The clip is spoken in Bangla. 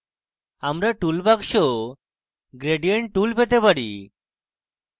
আমরা tool box gradient tool পেতে পারি